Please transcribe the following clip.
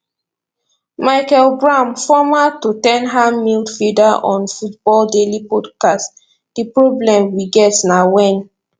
michael brown former tot ten ham midfielder on football daily podcast di problem we get na wen